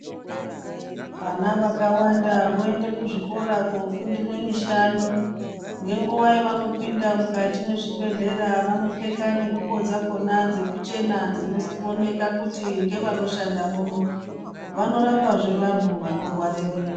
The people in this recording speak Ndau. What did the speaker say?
Vana vakawanda voende kuzvikora kofundire mishando ngenguwa yevanopinda mukati mwezvibhehlera vanopfeka nengubo dzakona dzekuchena dzinooneka kuti ngevanoshande muno vanorapa zve vantu vanorware mwiri.